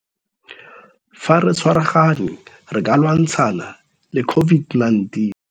Fa re tshwaragane re ka lwantshana le COVID-19.